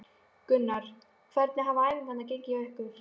Gunnar: Hvernig hafa æfingar gengið hjá ykkur?